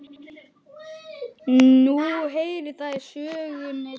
Nú heyrir það sögunni til.